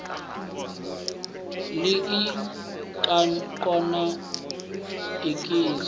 ḽa ik na iks la